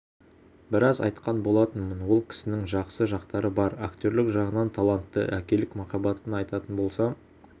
біраз айтқан болатынмын ол кісінің жақсы жақтары бар актерлік жағынан талантты әкелік махаббатын айтатын болсам